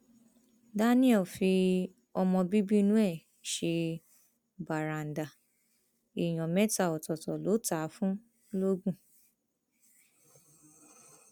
daniel fi ọmọ bíbí inú ẹ ṣe bàràǹdà èèyàn mẹta ọtọọtọ ló tà á fún lọgun